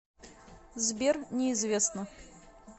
сбер неизвестно